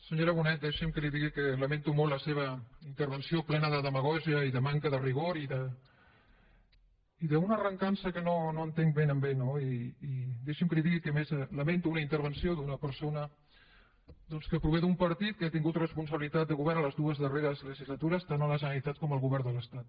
senyora bonet deixi’m que li digui que lamento molt la seva intervenció plena de demagògia i de manca de rigor i d’una recança que no entenc ben bé no i deixi’m que li digui que a més lamento una intervenció d’una persona doncs que prové d’un partit que ha tingut responsabilitat de govern a les dues darreres legislatures tant a la generalitat com al govern de l’estat